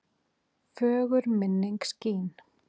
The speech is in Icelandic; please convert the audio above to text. Fögur minning skín.